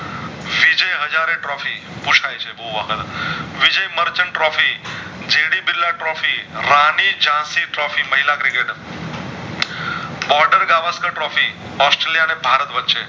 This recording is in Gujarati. વિજય હાજર trophy પૂછય છે બોવ આગલ Vijay Merchant trophy J V Birla trophy Rani જશી trophy મહિલા Cricketer ઑસ્ટ્રેલિયા અને ભારત વચ્ચે